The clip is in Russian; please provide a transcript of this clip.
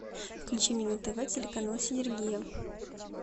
включи мне на тв телеканал синергия